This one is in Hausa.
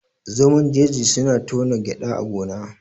Zomon jeji suna tona gyada a gona